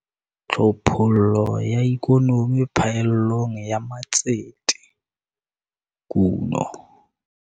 Tlhophollo ya ikonomi phaellong ya matsete, kuno.